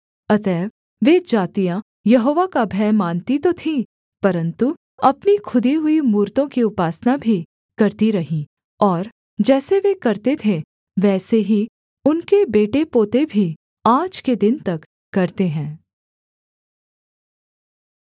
अतएव वे जातियाँ यहोवा का भय मानती तो थीं परन्तु अपनी खुदी हुई मूरतों की उपासना भी करती रहीं और जैसे वे करते थे वैसे ही उनके बेटे पोते भी आज के दिन तक करते हैं